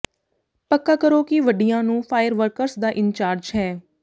ਪੱਕਾ ਕਰੋ ਕਿ ਵੱਡਿਆਂ ਨੂੰ ਫਾਇਰ ਵਰਕਸ ਦਾ ਇੰਚਾਰਜ ਹੈ